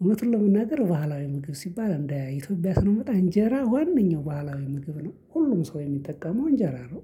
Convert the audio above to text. እውነቱን ለመናገር ባህላዊ ምግብ ሲባል እንደ ኢትዮጵያ ስንመጣ እንጀራ ዋነኛው ባህላዊ ምግብ ነው ሁሉም ሰው የሚጠቀመው እንጀራ ነው።